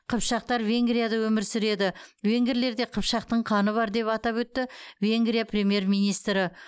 қыпшақтар венгрияда өмір сүреді венгрлерде қыпшақтың қаны бар деп атап өтті венгрия премьер министрі